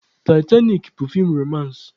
Taịtanik bụ feem romansị